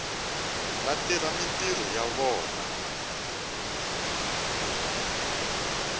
va tirha mintirho ya vona